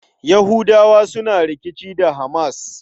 Yahudawa suna rikici da HAMAS.